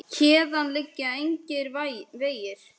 Héðan liggja engir vegir.